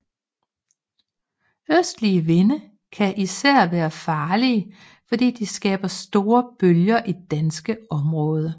Østlige vinde kan især være farlige fordi de skaber store bølger i dansk område